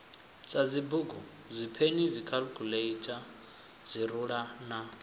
sadzibugu dzipeni dzikhaḽikhuḽeitha dziruḽa na